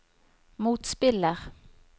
motspiller